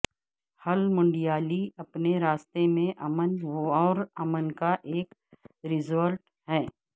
ہل منڈیالی اپنے راستے میں امن اور امن کا ایک ریزورٹ ہے